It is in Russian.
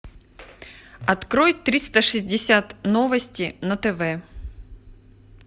открой триста шестьдесят новости на тв